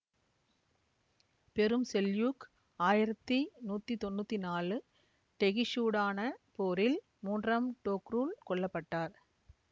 பெரும் செல்யூக் ஆயிரத்தி நூத்தி தொன்னூத்தி நாலு டெகிஷுடான போரில் மூன்றாம் டோக்ருல் கொல்ல பட்டார்